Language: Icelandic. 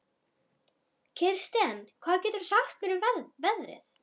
Kirsten, hvað geturðu sagt mér um veðrið?